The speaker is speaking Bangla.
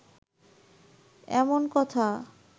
এমন কথা